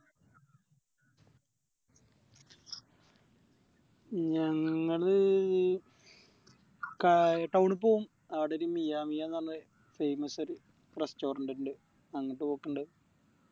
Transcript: ഞങ്ങള് ക Town ക്ക് പോവും ആടൊരു മിയ മിയാന്ന് പറഞ്ഞോര് Famous restaurant ഇണ്ട് അങ്ങോട്ട് പോക്കിണ്ട്